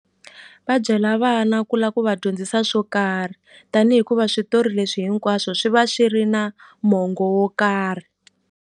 Va byela vana ku la ku va dyondzisa swo karhi tanihi hikuva switori leswi hinkwaswo swi va swi ri na mongo wo karhi.